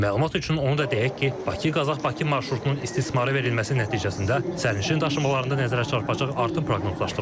Məlumat üçün onu da deyək ki, Bakı-Qazax-Bakı marşrutunun istismara verilməsi nəticəsində sərnişin daşımalarında nəzərə çarpacaq artım proqnozlaşdırılır.